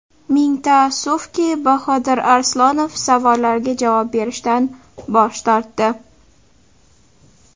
Ming taassufki, Bahodir Arslonov savollarga javob berishdan bosh tortdi.